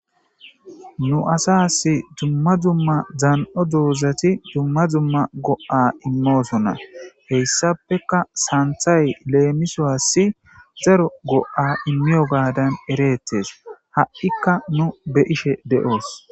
Nu asas dzumma dzumma dzan'o duozati dumma dumma go'a immoosona heyssapeka saanthay leemiso assi zaro go'a immiyo gaadan ereettes ha'ikka nu be ishe de'oos.